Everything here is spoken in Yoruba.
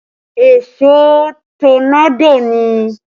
Èṣó tọ́nádò ni